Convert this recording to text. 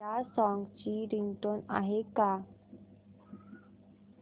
या सॉन्ग ची रिंगटोन आहे का